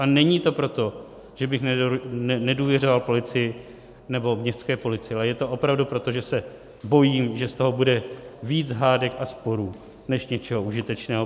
A není to proto, že bych nedůvěřoval policii nebo městské policii, ale je to opravdu proto, že se bojím, že z toho bude víc hádek a sporů než něčeho užitečného.